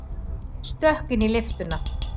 Stökk inn í lyftuna.